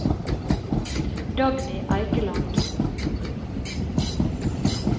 Dagny Eikeland